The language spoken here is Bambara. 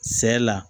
Sɛ la